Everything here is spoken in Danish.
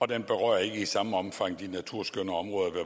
den berører ikke i samme omfang de naturskønne områder ved